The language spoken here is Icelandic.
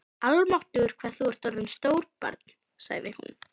Almáttugur hvað þú ert orðinn stór barn sagði hún.